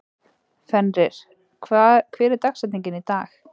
Fenrir, hver er dagsetningin í dag?